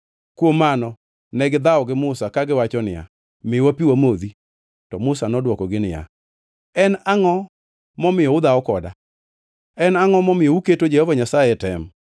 Kuom mano negidhawo gi Musa kagiwacho niya, “Miwa pi wamodhi.” To Musa nodwokogi niya “En angʼo momiyo udhawo koda? En angʼo momiyo uketo Jehova Nyasaye e tem?”